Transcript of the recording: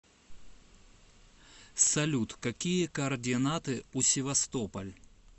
салют какие координаты у севастополь